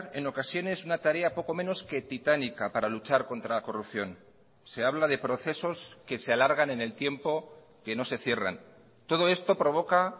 en ocasiones una tarea poco menos que titánica para luchar contra la corrupción se habla de procesos que se alargan en el tiempo que no se cierran todo esto provoca